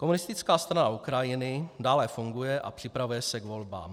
Komunistická strana Ukrajiny dále funguje a připravuje se k volbám.